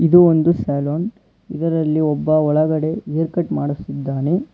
ಇದು ಒಂದು ಸಲೋನ್ ಇದರಲ್ಲಿ ಒಬ್ಬ ಒಳಗಡೆ ಹೇರ್ ಕಟ್ ಮಾಡಿಸಿದ್ದಾನೆ.